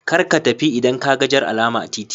Karka tafi idan kaga Jar alama a titi.